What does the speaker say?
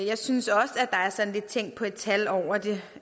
jeg synes også at der er sådan lidt tænk på et tal over det